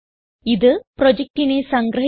ഇത് പ്രൊജക്റ്റിനെ സംഗ്രഹിക്കുന്നു